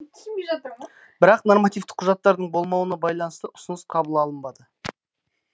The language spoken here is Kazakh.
бірақ нормативтік құжаттардың болмауына байланысты ұсыныс қабыл алынбады